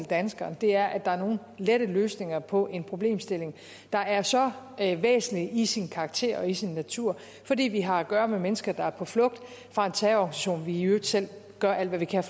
danskerne er at der er nogen lette løsninger på en problemstilling der er så væsentlig i sin karakter og i sin natur fordi vi har at gøre med mennesker der er på flugt fra en terrororganisation vi i øvrigt selv gør alt hvad vi kan